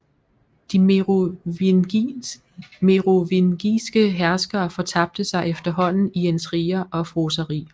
De merovingiske herskere fortabte sig efterhånden i intriger og fråseri